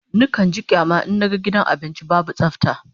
Nakan ji kyama in naga gidan abinci babu tsafta